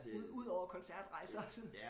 Ud ud over koncertrejser og sådan